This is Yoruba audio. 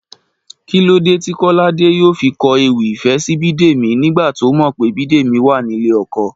Kí ló dé tí Kọ́ládé yóò fi kọ ewì ìfẹ́ sí Bídèmí nígbà tó mọ̀ pé Bídèmí wà nílé ọkọ?